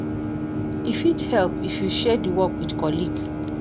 E fit help if you share di work with colleague